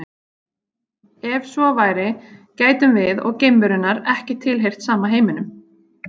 Ef svo væri gætum við og geimverunnar ekki tilheyrt sama heiminum.